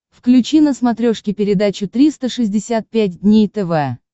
включи на смотрешке передачу триста шестьдесят пять дней тв